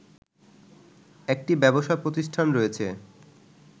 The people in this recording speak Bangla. একটি ব্যবসা প্রতিষ্ঠান রয়েছে